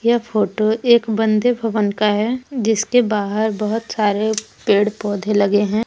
यह फोटो एक बंदे भवन का है जिसके बाहर बहुत सारे पेड़ पौधे लगे हैं।